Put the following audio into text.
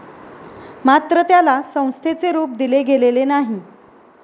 मात्र त्याला संस्थेचे रुप दिले गेलेले नाही.